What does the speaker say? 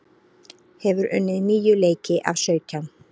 Hefur unnið níu leiki af sautján